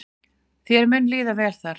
Þér mun líða vel þar.